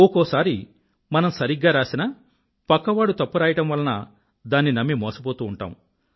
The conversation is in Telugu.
ఒకోసారి మనం సరిగ్గా రాసినా పక్కవాడు తప్పు రాయడం వలన దాన్ని నమ్మి మోసపోతూ ఉంటాము